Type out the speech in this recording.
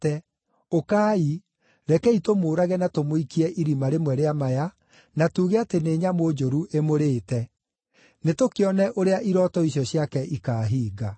Ũkai; rekei tũmũũrage na tũmũikie irima rĩmwe rĩa maya, na tuuge atĩ nĩ nyamũ njũru ĩmũrĩĩte. Nĩtũkĩone ũrĩa irooto icio ciake ikaahinga.”